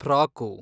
frock